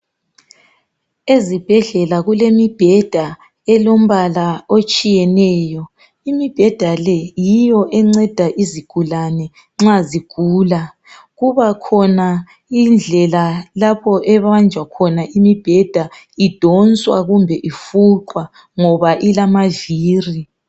ezibhedlela kulemibheda elombala etshiyeneyo ,imibheda le yiyo enceda izigulane nxa zigula ,kubakhona indlela lapho ebanjwa khona imibheda idonswa kumbe ifuqwa ngoba ilama viri